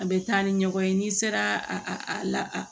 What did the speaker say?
A bɛ taa ni ɲɔgɔn ye n'i sera a la